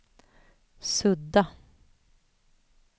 sudda